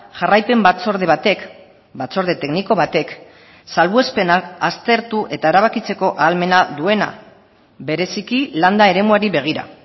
jarraipen batzorde batek batzorde tekniko batek salbuespenak aztertu eta erabakitzeko ahalmena duena bereziki landa eremuari begira